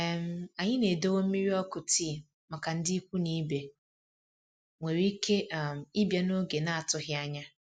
um Anyị na-edowe mmiri ọkụ tii màkà ndị ikwu na ibe nwéré ike um ịbịa n'oge n'atụghị ányá.